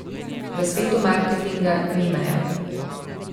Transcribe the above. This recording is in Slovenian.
V svetu marketinga ni meja.